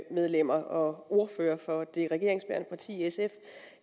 medlemmer og ordfører for det regeringsbærende parti sf